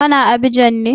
Ka na Abidjan ne?